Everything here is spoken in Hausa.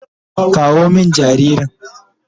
Kawo min jaririn.